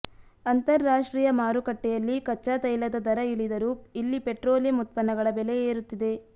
ಅಂತರರಾಷ್ಟ್ರೀಯ ಮಾರುಕಟ್ಟೆಯಲ್ಲಿ ಕಚ್ಚಾ ತೈಲದ ದರ ಇಳಿದರೂ ಇಲ್ಲಿ ಪೆಟ್ರೋಲಿಯಂ ಉತ್ಪನ್ನಗಳ ಬೆಲೆ ಏರುತ್ತಿದೆ